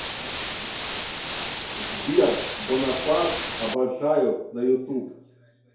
сбер бонапарт обожаю на ютуб